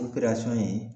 O in ye